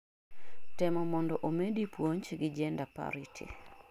temo mondo omedi puoj gi Gender parity